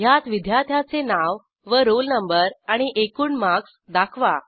ह्यात विद्यार्थ्याचे नाव व रोल नंबर आणि एकूण मार्क्स दाखवा